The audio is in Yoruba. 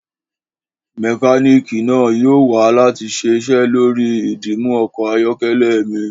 Mekaniki naa yoo wa lati ṣiṣẹ lori idimu ọkọ ayọkẹlẹ mi.